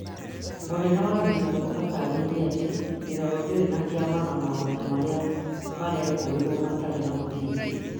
mũnene wa mbirarũ ataraĩirie atĩ mbirarũ ndĩrĩ kĩama na mũndũ marĩa merekũĩrwo matirĩ na mũthingi